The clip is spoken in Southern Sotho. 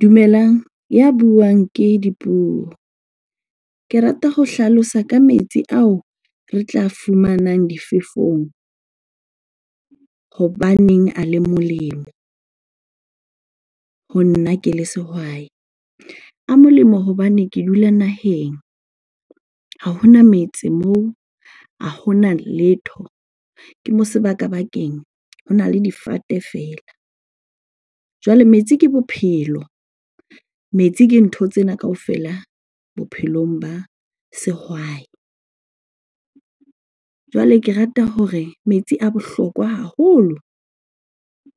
Dumelang, ya buang ke Dipuo. Ke rata ho hlalosa ka metsi ao re tla a fumanang difefong hobaneng a le molemo ho nna ke le sehwai. A molemo hobane ke dula naheng, ha hona metse moo, a hona letho, ke mo sebaka-bakeng, hona le difate feela. Jwale metsi ke bophelo, metsi ke ntho tsena kaofela bophelong ba sehwai. Jwale ke rata hore metsi a bohlokwa haholo.